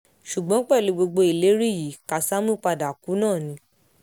ṣùgbọ́n pẹ̀lú gbogbo ìlérí yìí kásámù padà kú náà ni